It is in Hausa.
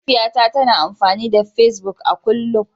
Mahaifiyata tana amfani da Facebook a kullum